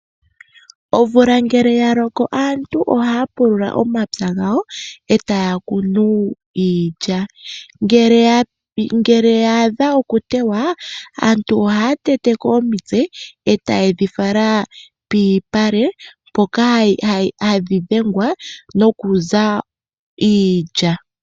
Omvula ngele yaloko aantu ohaya pulula omapya gawo etaya kunu iilya, ngele ya adha okutewa aantu ohaya teteko omitse etayedhi fala pomalupale mpoka hadhi dhengwa nokuza iilya.